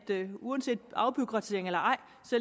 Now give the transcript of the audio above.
uanset om er afbureaukratisering eller ej